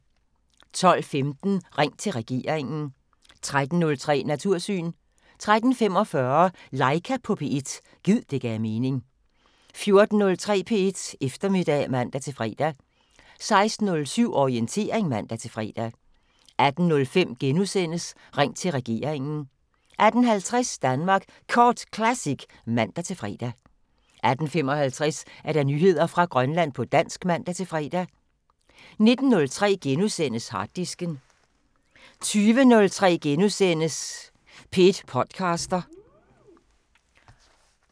12:15: Ring til regeringen 13:03: Natursyn 13:45: Laika på P1 – gid det gav mening 14:03: P1 Eftermiddag (man-fre) 16:07: Orientering (man-fre) 18:05: Ring til regeringen * 18:50: Danmark Kort Classic (man-fre) 18:55: Nyheder fra Grønland på dansk (man-fre) 19:03: Harddisken * 20:03: P1 podcaster *